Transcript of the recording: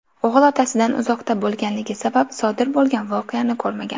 O‘g‘il otasidan uzoqda bo‘lganligi sabab sodir bo‘lgan voqeani ko‘rmagan.